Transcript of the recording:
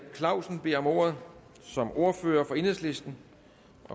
clausen beder om ordet som ordfører for enhedslisten